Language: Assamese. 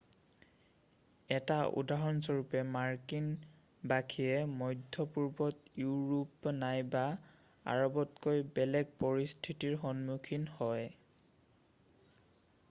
1 টা উদাহৰণস্বৰূপে মাৰ্কিন বাসীয়ে মধ্যপূৰ্বত ইউৰোপ নাইবা আৰৱতকৈ বেলেগ পৰিস্থিতিৰ সন্মুখীন হয়